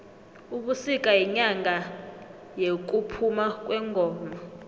ubisika yinyanga yekuphuma kwengoma